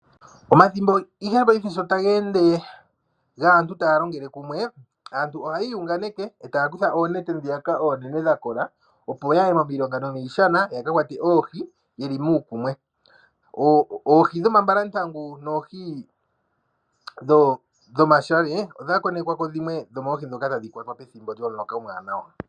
Omathimbo gaantu taya longele kumwe, aantu oha yu unganeke, eta ya kutha oonenete ndhiyaka oonene dhakola opo yaye momilonga nomiishana ya kakwate oohi yeli muukumwe. Oohi dhomambalantangu noohi dhomashange odha konekwako dhimwe dhoomohi ndhoka tadhi kwatwa pethimbo lyomuloka omuwanawa.